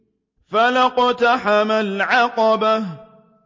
فَلَا اقْتَحَمَ الْعَقَبَةَ